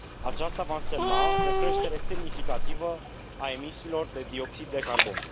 Aceasta va însemna o creștere semnificativă a emisiilor de dioxid de carbon.